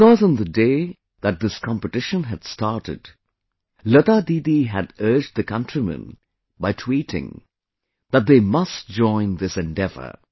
Because on the day that this competition had started, Lata Didi had urged the countrymen by tweeting that they must join this endeavour